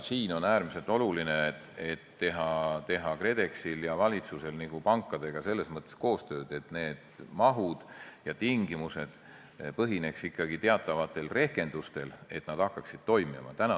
Siin on äärmiselt oluline KredExil ja valitsusel teha pankadega selles mõttes koostööd, et need mahud ja tingimused põhineksid ikkagi teatavatel rehkendustel, et nad hakkaksid toimima.